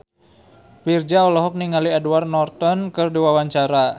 Virzha olohok ningali Edward Norton keur diwawancara